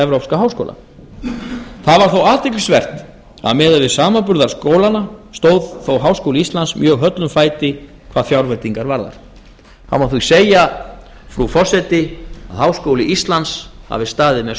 evrópska háskóla það var þó athyglisvert að miðað við samanburðarskólana stóð þó háskóli íslands mjög höllum fæti hvað fjárveitingar varðar það má því segja frú forseti að háskóli íslands hafi staðið með